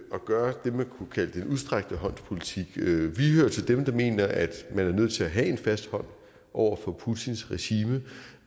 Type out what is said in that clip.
at gøre det man kunne kalde den udstrakte hånds politik vi hører til dem der mener at man er nødt til at have en fast hånd over for putins regime